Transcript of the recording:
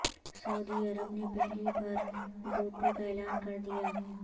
سعودی عرب نے پہلی بار دوٹوک اعلان کر دیا